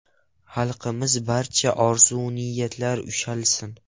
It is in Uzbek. Xalqimizning barcha orzu-niyatlari ushalsin!